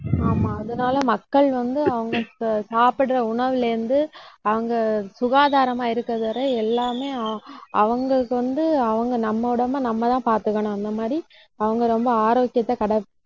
ஆமா அதனால, மக்கள் வந்து அவங்க சாப்பிடுற உணவுல இருந்து அவங்க சுகாதாரமா இருக்கிறது வரை எல்லாமே ஆகும் அவங்களுக்கு வந்து அவங்க நம்ம உடம்பை நம்மதான் பாத்துக்கணும். அந்த மாதிரி அவங்க ரொம்ப ஆரோக்கியத்தை கடை